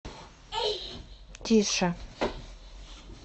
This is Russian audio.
тише